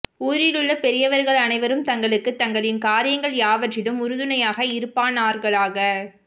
ஊரிலுள்ள பெரியவர்கள் அனைவரும் தங்களுக்கு தங்களின் காரியங்கள் யாவற்றிலும் உறுதுணையாக இருப்பானார்களாக